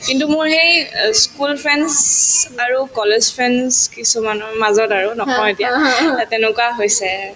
কিন্তু মোৰ সেই অ school friends আৰু college friends কিছুমানৰ মাজত আৰু নকওঁ এতিয়া এই তেনেকুৱা হৈছে